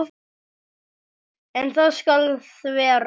En það skal þvera.